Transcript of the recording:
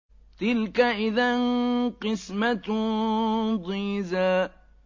تِلْكَ إِذًا قِسْمَةٌ ضِيزَىٰ